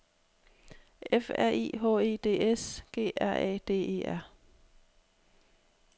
F R I H E D S G R A D E R